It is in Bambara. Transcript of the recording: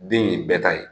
Den in ye bɛɛ ta ye